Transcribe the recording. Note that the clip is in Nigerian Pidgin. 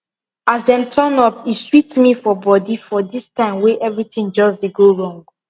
as dem turn up e sweet me for body for this time wey everything just dey go wrong